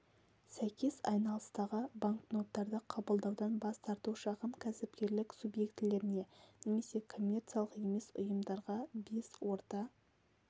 сәйкес айналыстағы банкноттарды қабылдаудан бас тарту шағын кәсіпкерлік субъектілеріне немесе коммерциялық емес ұйымдарға бес орта